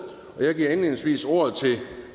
jeg giver indledningsvis ordet til